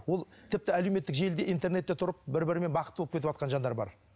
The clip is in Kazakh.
ол тіпті әлеуметтік желіде интернетте тұрып бір бірімен бақытты болып кетіп жатқан жандар бар